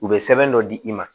U bɛ sɛbɛn dɔ di i ma